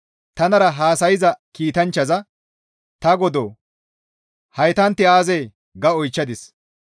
Tanara haasayza kiitanchchaza, «Ta godoo! Haytanti aazee?» ga oychchadis.